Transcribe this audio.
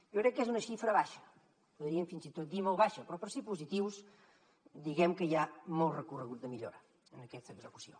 jo crec que és una xifra baixa podríem fins i tot dir molt baixa però per ser positius diguem que hi ha molt recorregut de millora en aquesta execució